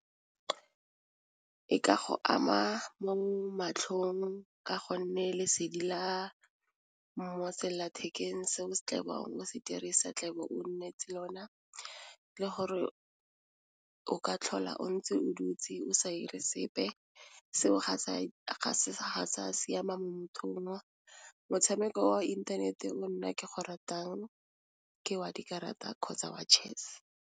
E ka go ama mo matlhong ka gonne lesedi la mo selelathekeng seo tla bong o se dirisa tle be o tshwanetse lona le gore o ka tlhola o ntse o dutse o sa 'ire sepe, seo ga se a siama mo mothong, motshameko wa inthanete o nna ke go ratang ke wa dikarata kgotsa wa chess.